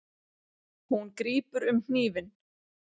Hún grípur um hnífinn.